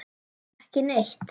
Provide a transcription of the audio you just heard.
Ekki neitt